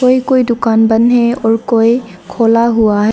कोई कोई दुकान बंद है और कोई खोला हुआ है।